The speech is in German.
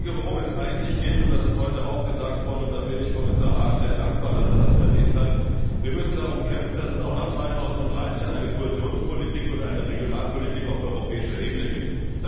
Worum es eigentlich geht das ist heute auch gesagt worden, und ich bin Kommissar Hahn sehr dankbar, dass er das erwähnt hat Wir müssen darum kämpfen, dass es auch nach 2013 eine Kohäsionspolitik und eine Regionalpolitik auf europäischer Ebene gibt.